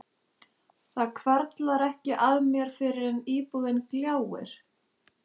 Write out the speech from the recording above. Það hvarflar ekki að mér fyrr en íbúðin gljáir.